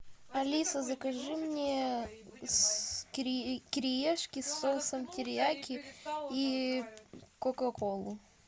алиса закажи мне кириешки с соусом терияки и кока колу